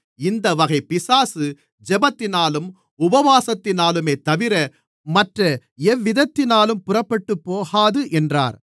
இந்த வகைப் பிசாசு ஜெபத்தினாலும் உபவாசத்தினாலுமேதவிர மற்ற எவ்விதத்தினாலும் புறப்பட்டுப்போகாது என்றார்